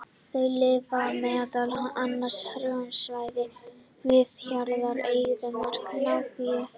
Þau lifa meðal annars á hrjóstrugum svæðum við jaðra eyðimarka Namibíu.